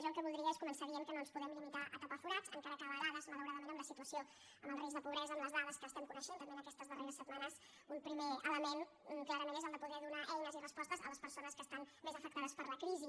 jo el que voldria és començar dient que no ens podem limitar a tapar forats encara que a vegades malauradament amb la situació amb el risc de pobresa amb les dades que estem coneixent també en aquestes darreres setmanes un primer element clarament és el de poder donar eines i respostes a les persones que estan més afectades per la crisi